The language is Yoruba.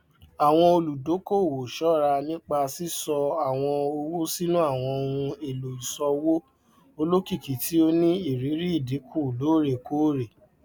àwọn olùdókòwò ṣọra nípa sísọ àwọn owó sínú àwọn ohun èlò ìṣòwò olókìkí tí ó ní irírí ìdínkù loorekoore